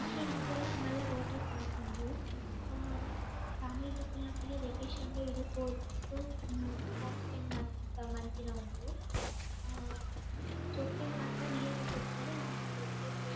ಕುಡ್ಲಡ್ ಉಪ್ಪುನ ಮಲ್ಲ ವಾಟರ್ ಪಾರ್ಕ್ ಉಂದು ಫ್ಯಾಮಿಲಿ ದಕಲ್ನೊಟಿಗೆ ವೆಕೇಷನ್ ಗ್ ಇಡೆ ಪೋದು ಪೋಪುನ ಟೈಮ್ ಸ್ಪೆಂಡ್ ಮಂ ಮಂತಿನ ಉಂಡು ಹಾ ಜೋಕುಲೆಗ್ ಮಾತ ನೀರುಡ್ ಗೊಬ್ಬೆರೆ ಇಂದು ಒಂಜಿ ಎಡ್ಡೆ ಪ್ಲೇಸ್ .